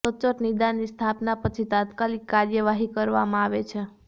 સચોટ નિદાનની સ્થાપના પછી તાત્કાલિક કાર્યવાહી કરવામાં આવે છે